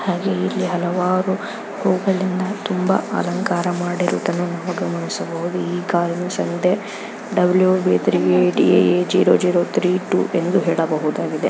ಹಾಗೆಯೆ ಇಲ್ಲಿ ಹಲವಾರು ಹೂಗಳಿಂದ ತುಂಬಾ ಅಲಂಕಾರ ಮಾಡಿರುವುದನ್ನುನಾವು ಗಮನಿಸಬಹುದು .ಈ ಗಾಡಿಯ ಸಂಖ್ಯೆ ಡಬ್ಲ್ಯೂ ಬಿ ಡಿ ಎ ೦೦೩೩ ಅಂತ ಹೇಳಬಹುದು .